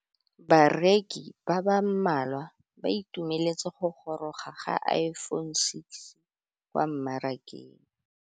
Bareki ba ba malwa ba ituemeletse go gôrôga ga Iphone6 kwa mmarakeng.